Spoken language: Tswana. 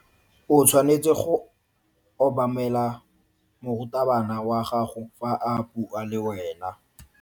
O tshwanetse go obamela morutabana wa gago fa a bua le wena.